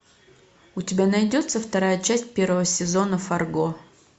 у тебя найдется вторая часть первого сезона фарго